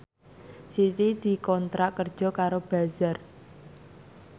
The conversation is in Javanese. Siti dikontrak kerja karo Bazaar